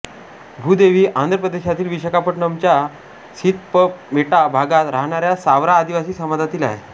भूदेवी आंध्र प्रदेशातील विशाखापट्टणमच्या सीथमपेटा भागात राहणाऱ्या सावरा आदिवासी समाजातील आहे